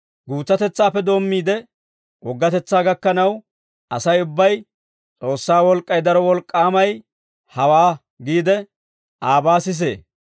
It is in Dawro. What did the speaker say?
Guutsatetsaappe doommiide, woggatetsaa gakkanaw, Asay ubbay, «S'oossaa wolk'k'ay daro wolk'k'aamay hawaa» giide aabaa sisee.